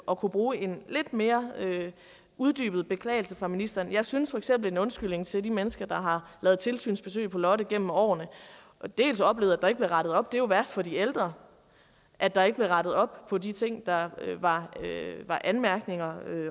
og kunne bruge en lidt mere uddybet beklagelse fra ministeren jeg synes feks at en undskyldning til de mennesker der har lavet tilsynsbesøg på lotte gennem årene og dels har oplevet at der ikke blev rettet op det var jo værst for de ældre at der ikke blev rettet op på de ting der var anmærkninger